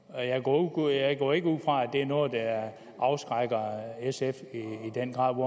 og jeg går jeg går ikke ud fra at det er noget der afskrækker sf i den grad